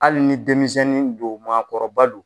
Hali ni denmisɛnnin don maakɔrɔba lo.